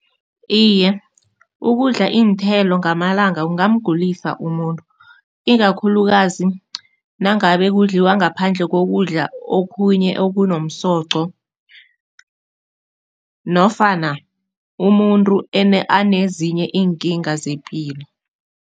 Iye, ukudla iinthelo ngamalanga kungamgulisa umuntu, ikakhulukazi nangabe kudliwa ngaphandle kokudla okhunye okunomsoqo nofana umuntu anezinye iinkinga zepilo.